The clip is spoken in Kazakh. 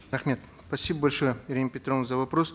рахмет спасибо большое ирина петровна за вопрос